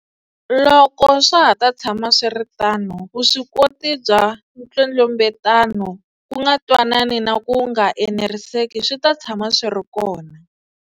Loko swa ha ta tshama swi ri tano, vuswikoti bya nkwetlembetano, ku nga twanani na ku nga eneriseki swi ta tshama swi ri kona.